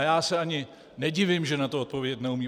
A já se ani nedivím, že na to odpovědět neumí.